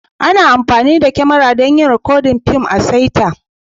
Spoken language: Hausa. Ana amfani da kyamara don yin rikod na fims a'saita.